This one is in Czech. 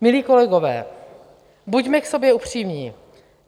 Milí kolegové, buďme k sobě upřímní.